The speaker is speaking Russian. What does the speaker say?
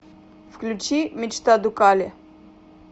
включи мечта дукале